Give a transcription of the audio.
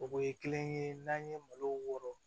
O ye kelen ye n'an ye malo wɔrɔ